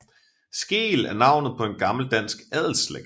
Skeel er navnet på en gammel dansk adelsslægt